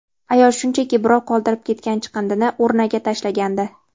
Ayol shunchaki birov qoldirib ketgan chiqindini urnaga tashlagandi.